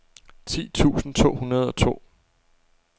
ti tusind to hundrede og to